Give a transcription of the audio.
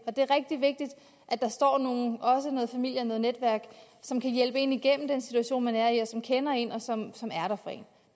at der står nogen også noget familie og noget netværk som kan hjælpe en igennem den situation man er i som kender en og som